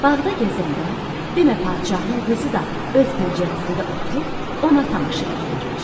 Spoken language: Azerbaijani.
Bağda gəzəndə demə padşahın qızı da öz pəncərəsində oturub ona tamaşa eləyirmiş.